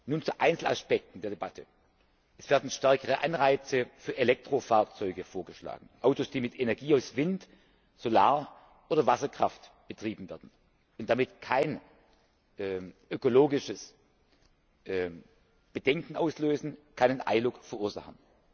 Nun zu Einzelaspekten der Debatte Es werden stärkere Anreize für Elektrofahrzeuge vorgeschlagen Autos, die mit Energie aus Wind Solar oder Wasserkraft betrieben werden und damit keine ökologischen Bedenken auslösen, keinen ILUC verursachen.